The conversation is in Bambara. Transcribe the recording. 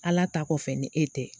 Ala ta kɔfɛ ni e tɛ